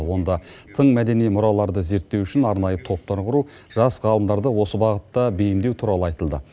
онда тың мәдени мұраларды зерттеу үшін арнайы топтар құру жас ғалымдарды осы бағытта бейімдеу туралы айтылды